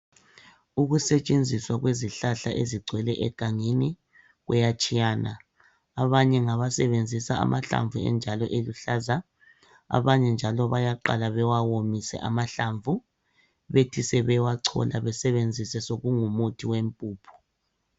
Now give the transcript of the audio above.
Ukusetshenziswa kwezihlahla ezigcwele egangeni kuyatshiyana, abanye ngabasebenzisa amahlamvu enjalo eluhlaza abanye njalo bayaqala bewawomise amahlamvu bethi sebewachola besebenzise sokungumuthi wempuphu